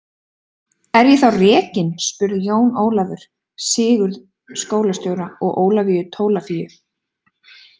Er ég þá rekinn spurði Jón Ólafur Sigurð skólastjóra og Ólafíu Tólafíu.